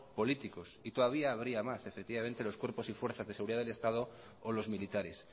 políticos y todavía habría más efectivamente los cuerpos y fuerzas de seguridad del estado o los militares